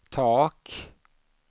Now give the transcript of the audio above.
tak